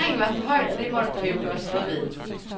Terrænet var for højt, og det måtte der jo gøres noget ved.